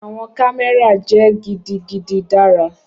Awọn kamẹra jẹ gidigidi dara.